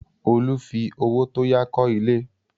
Olú fi owó tó yá kọ́ ilé.